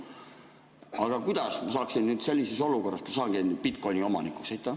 Aga kuidas ma saaksin sellises olukorras saada bitcoin'i omanikuks?